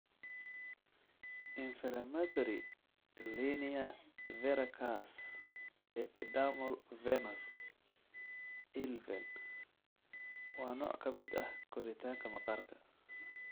Inflammatory linear verrucous epidermal nevus (ILVEN) waa nooc ka mid ah korriinka maqaarka.